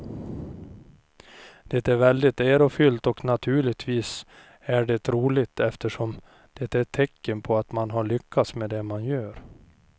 Det är väldigt ärofyllt och naturligtvis är det roligt eftersom det är ett tecken på att man har lyckats med det man gör.